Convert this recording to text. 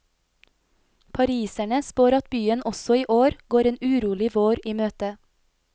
Pariserne spår at byen også i år, går en urolig vår i møte.